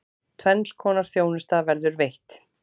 Tvenns konar þjónusta verður veitt.